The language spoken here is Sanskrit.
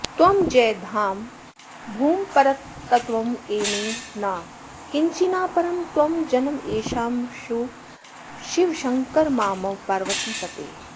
त्वं जय धाम भूम परतत्त्वमवैमि न किञ्चिनापरं त्वं जनमैशमाशु शिव शङ्कर मामव पार्वतीपते